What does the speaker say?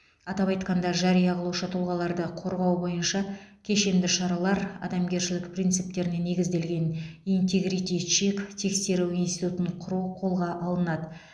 атап айтқанда жария қылушы тұлғаларды қорғау бойынша кешенді шаралар адамгершілік принциптеріне негізделген интегрити чек тексеру институтын құру қолға алынады